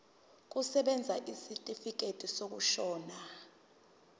kusebenza isitifikedi sokushona